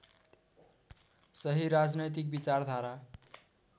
सही राजनैतिक विचारधारा